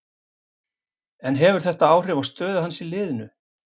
En hefur þetta áhrif á stöðu hans í liðinu?